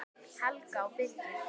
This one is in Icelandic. Helga og Birgir.